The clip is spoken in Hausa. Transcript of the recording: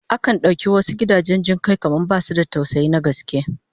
Akan dauki wasu gidajen jin kai kamar basu da tausayi na gaske